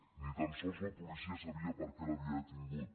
ni tan sols la policia sabia per què l’havia detingut